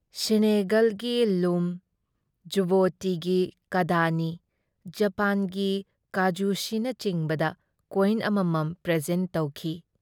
ꯁꯤꯅꯦꯒꯜꯒꯤ ꯂꯨꯝ, ꯖꯨꯕꯣꯇꯤꯒꯤ ꯀꯥꯗꯥꯅꯤ, ꯖꯄꯥꯟꯒꯤ ꯀꯥꯖꯨꯁꯤꯅꯆꯤꯡꯕꯗ ꯀꯣꯏꯟ ꯑꯃꯃꯝ ꯄ꯭ꯔꯦꯖꯦꯟꯠ ꯇꯧꯈꯤ ꯫